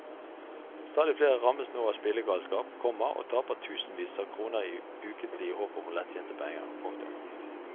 Stadig flere rammes nå av spillegalskap, komma og taper tusenvis av kroner ukentlig i håpet om lettjente penger. punktum